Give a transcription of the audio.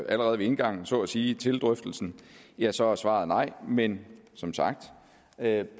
allerede ved indgangen så at sige til drøftelsen ja så er svaret nej men som sagt er